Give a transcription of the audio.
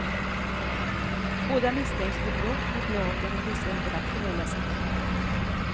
Båda misstänks för brott mot lagen om vissa internationella sanktioner.